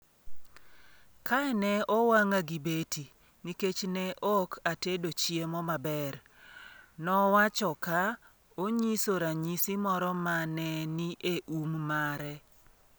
“Kae ne owang’a gi beti, nikech ne ok atedo chiemo maber,” nowacho, ka onyiso ranyisi moro ma ne ni e um mare.